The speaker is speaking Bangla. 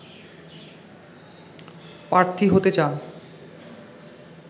প্রার্থী হতে চান